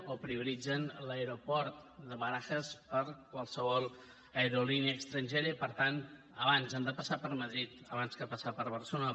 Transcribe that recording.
o prioritzen l’aeroport de barajas per a qualsevol aerolínia estrangera i per tant han de passar per madrid abans que passar per barcelona